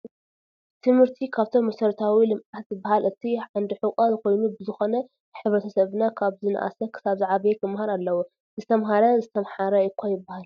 ትምህርቲ ካብቶም መሰረታዊ ልምዓት ዝበሃል እቲ ዓዲ ሕቆ ኮይኑ ብዝኮነ ሕብረሰብና ካብ ዝነሰኣነ ክሳብ ዝዓበየ ክመሃር ኣለዎ ። ዝተማሃረ ዝተማሓረ እኳ ይበሃል።